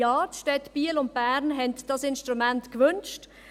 Ja, die Städte Biel und Bern haben dieses Instrument gewünscht.